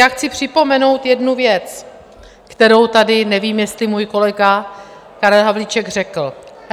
Já chci připomenout jednu věc, kterou tady nevím, jestli můj kolega Karel Havlíček řekl.